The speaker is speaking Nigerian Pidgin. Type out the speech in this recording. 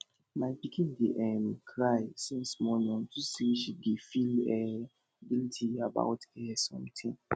my pikin dey um cry since morning unto say she dey feel um guilty about um something